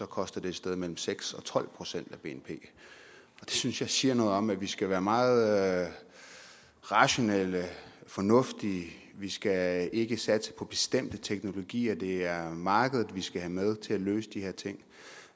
koste et sted mellem seks og tolv procent af bnp det synes jeg siger noget om at vi skal være meget rationelle og fornuftige vi skal ikke satse på bestemte teknologier det er markedet vi skal have med til at løse de her ting